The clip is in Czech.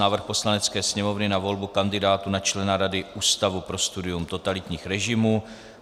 Návrh Poslanecké sněmovny na volbu kandidátů na člena Rady Ústavu pro studium totalitních režimů